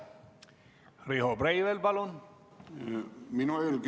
Riho Breivel, palun!